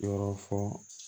Yɔrɔ fɔ